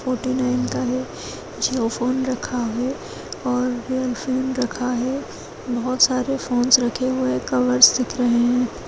Forty nine का है Jio phone रखा है और वीवो फ़ोन रखा है बहुत सारे फ़ोनस रखे हुए है कलर्स रखे हुए है।